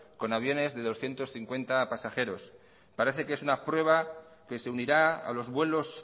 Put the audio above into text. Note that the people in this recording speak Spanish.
con aviones de doscientos cincuenta pasajeros parece que es una prueba que se unirá a los vuelos